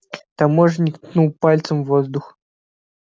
таможенник ткнул пальцем в воздух